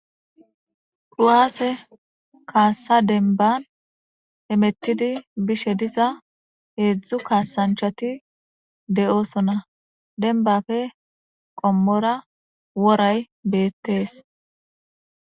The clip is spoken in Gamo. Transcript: kuwaase kaassa denban hemettidi bishe diza heedzdzu kaasanchati de7oosona denbafe qommora woray beettees